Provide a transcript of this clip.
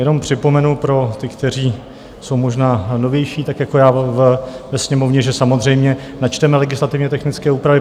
Jenom připomenu pro ty, kteří jsou možná novější tak jako já ve Sněmovně, že samozřejmě načteme legislativně technické úpravy.